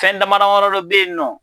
Fɛn dama damadɔ be yen nɔ